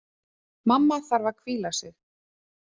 Mamma þarf að hvíla sig.